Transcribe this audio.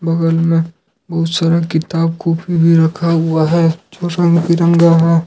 बगल में दूसरा किताब कॉपी भी रखा हुआ है जो बिरंगा है।